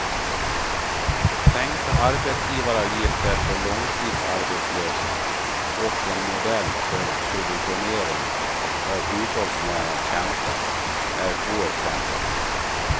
Sänkta arbetsgivaravgifter för långtidsarbetslösa och en modell för subventionering av hushållsnära tjänster är två exempel.